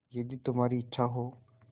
यदि तुम्हारी इच्छा हो